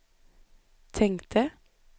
tänkte